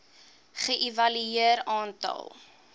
ge evalueer aantal